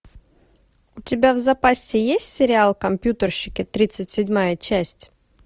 у тебя в запасе есть сериал компьютерщики тридцать седьмая часть